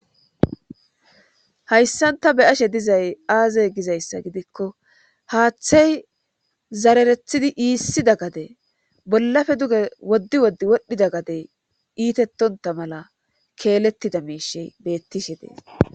Hayssanta be'ashe dizay aaze gizayssa gidikko haaththey zararethidi issida gade bollappe duge woddi woddi wodhdhida gadey iitettonta mala keelettida miishshey beettishshe dees